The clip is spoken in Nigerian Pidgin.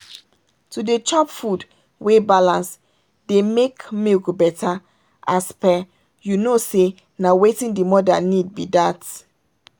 to dey chop food wey balance dey make milk better as per you know say na wetin the mother need be that.